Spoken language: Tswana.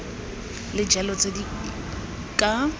le jalo tse di ka